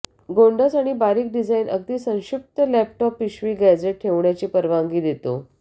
गोंडस आणि बारीक डिझाइन अगदी संक्षिप्त लॅपटॉप पिशवी गॅझेट ठेवण्याची परवानगी देतो